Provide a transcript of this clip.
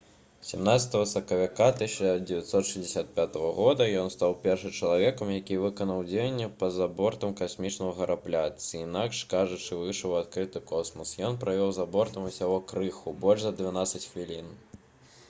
18 сакавіка 1965 года ён стаў першым чалавекам які выканаў дзеянні па-за бортам касмічнага карабля ці інакш кажучы выйшаў у адкрыты космас ён правеў за бортам усяго крыху больш за дванаццаць хвілін